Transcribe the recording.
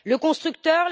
Le constructeur?